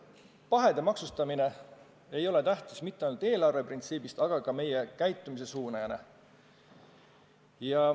Pahede maksustamine ei ole tähtis mitte ainult eelarve seisukohast, vaid ka meie käitumise suunajana.